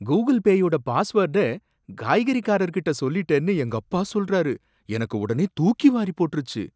Google பேயோட பாஸ்வோர்ட காய்கறி கடைக்காரர் கிட்ட சொல்லிட்டேன்னு எங்க அப்பா சொல்றாரு, எனக்கு உடனே தூக்கி வாரி போட்டுருச்சு.